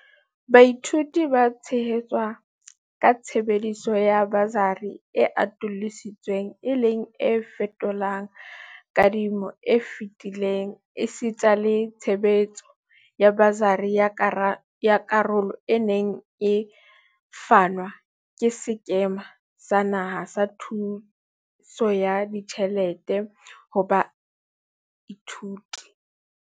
Baithuti ba tshehetswa ka tshebediso ya basari e atolosi tsweng e leng e fetolang kadi mo e fetileng esita le tshebetso ya basari ya karolo e neng e fanwa ke Sekema sa Naha sa Thuso ya Ditjhelete ho Baithuti.